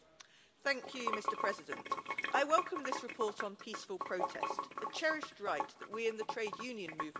Mr President, I welcome this report on peaceful protest a cherished right that we in the trade union movement hold dear.